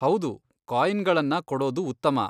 ಹೌದು ಕಾಯಿನ್ಗಳನ್ನ ಕೊಡೊದು ಉತ್ತಮ.